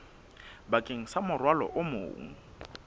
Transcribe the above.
bakeng sa morwalo o mong